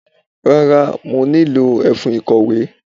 Rárá, mo nílò ẹfun ìkọ̀wé.